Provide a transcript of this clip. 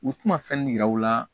U tɛna fɛn yira u la